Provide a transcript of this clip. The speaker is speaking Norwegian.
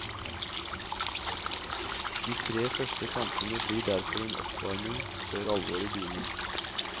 De tre første kampene blir derfor en oppvarming før alvoret begynner.